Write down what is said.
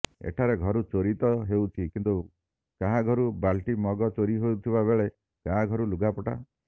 ଏଠାରେ ଘରୁ ଚୋରି ତ ହେଉଛି କିନ୍ତୁ କାହାଘରୁ ବାଲ୍ଟି ମଗ ଚୋରି ହେଉଥିବା ବେଳେ କାହାଘରୁ ଲୁଗାପଟା